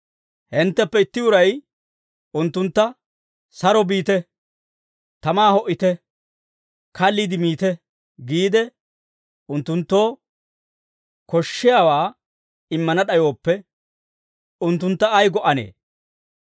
hintteppe itti uray unttuntta, «Saro biite. Tamaa ho"ite. Kalliide miite» giide, unttunttoo koshshiyaawaa immana d'ayooppe, unttuntta ay go"anee?